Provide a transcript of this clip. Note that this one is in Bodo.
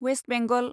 वेस्ट बेंगल